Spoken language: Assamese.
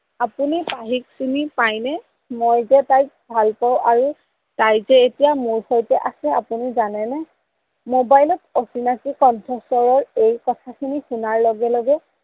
আপোনি পাহিক চিনি পাই নে মই যে তাইক ভাল পাও আৰু তাই যে এতিয়া মোৰ সৈতে আছে আপোনি জানেনে। মবাইলত অচিনাকি কন্থস্বৰৰ এই কথাখিনি শুনাৰ লগে লগে